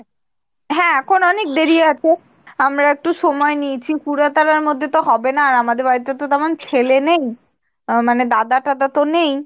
হ্যাঁ এখন অনেক দেরি আছে আমরা একটু সময় নিয়েছি। তে তো আর হবেনা আর আমাদের বাড়িতে তো তেমন ছেলে নেই আহ মানে দাদা টাদা তো নেই।